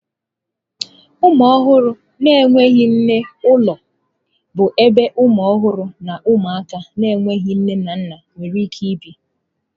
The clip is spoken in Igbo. Ụmụ ọhụrụ na-enweghị nne n'ụlọ bụ ebe ụmụ ọhụrụ na ụmụaka na-enweghị nne na nna nwere ike ibi.